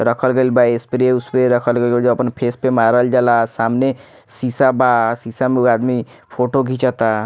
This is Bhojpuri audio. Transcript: रखल गइल बा स्प्रे - उस्प्रे रखल गइल बा जो अपन फेस मारल जला सामने सीसा बा सीसा में उ आदमी फोटो घिचता।